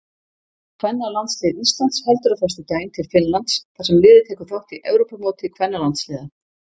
Kvennalandslið Íslands heldur á föstudaginn til Finnlands þar sem liðið tekur þátt í Evrópumóti kvennalandsliða.